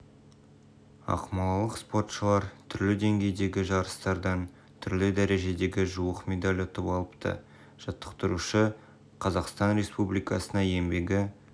ақмолалық спортшылар түрлі деңгейдегі жарыстардан түрлі дәрежедегі жуық медаль ұтып алыпты жаттықтырушы қазақстан республикасына еңбегі